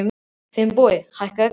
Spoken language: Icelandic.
Finnbogi, hækkaðu í græjunum.